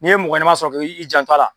Ni ye mɔgɔ ɲɛnɛman sɔrɔ ke i jan to a la